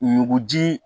Ɲuguji